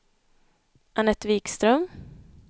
Anette Vikström